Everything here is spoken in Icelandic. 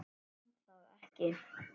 Man það ekki.